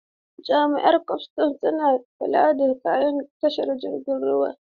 Jami'an kwastam suna kula da sakin kaya a tashar jiragen ruwa.